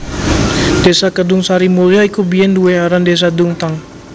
Desa Kedungsarimulyo iku biyèn duwé aran Désa Dungtang